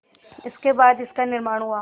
जिसके बाद इसका निर्माण हुआ